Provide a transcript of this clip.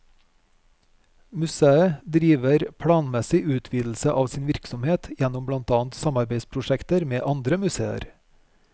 Museet driver planmessig utvidelse av sin virksomhet gjennom blant annet samarbeidsprosjekter med andre museer.